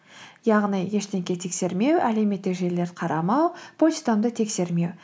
яғни ештеңе тексермеу әлеуметтік желілерді қарамау почтамды тексермеу